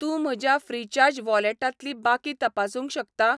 तूं म्हज्या फ्रिचार्ज वॉलेटांतली बाकी तपासूंक शकता?